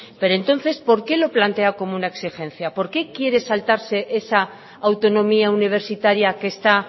pero entonces por qué lo plantea como una exigencia por qué quiere saltarse esa autonomía universitaria que está